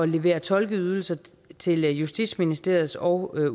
levere tolkeydelser til justitsministeriet og